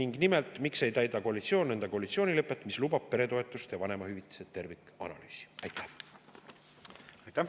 Ja nimelt: miks ei täida koalitsioon koalitsioonilepet, mis lubab peretoetuste ja vanemahüvitise tervikanalüüsi?